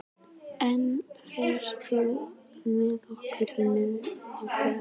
Lena, ferð þú með okkur á miðvikudaginn?